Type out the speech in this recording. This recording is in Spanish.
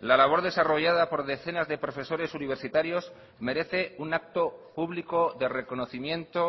la labor desarrollada por decenas de profesores universitarios merece un acto público de reconocimiento